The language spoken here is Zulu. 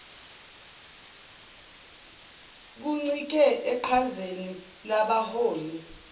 kuncike eqhazeni labaholi